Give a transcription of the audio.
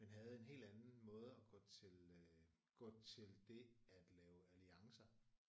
Men havde en helt anden måde at gå til øh gå til det at lave alliancer